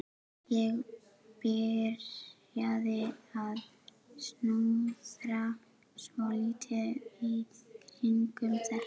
Ég byrjaði að snuðra svolítið í kringum þetta.